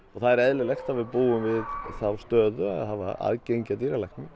það er eðlilegt að við búum við þá stöðu að hafa aðgengi að dýralækni